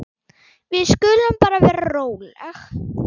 Við skulum bara vera róleg.